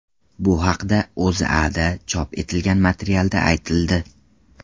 Bu haqda O‘zAda chop etilgan materialda aytildi .